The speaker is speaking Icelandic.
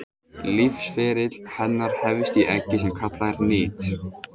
Lífsferill hennar hefst í eggi sem kallað er nit.